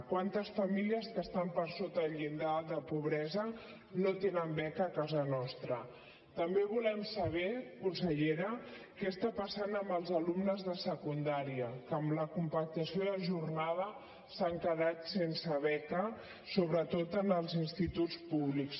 quantes famílies que estan per sota el llindar de pobresa no tenen beca a casa nostratambé volem saber consellera què està passant amb els alumnes de secundària que amb la compactació de jornada s’han quedat sense beca sobretot als instituts públics